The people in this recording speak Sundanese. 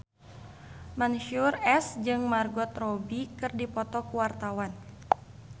Mansyur S jeung Margot Robbie keur dipoto ku wartawan